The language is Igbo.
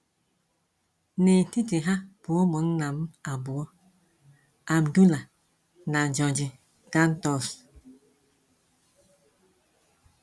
N’etiti ha bụ ụmụnna m abụọ, Abdullah na George Ghantous.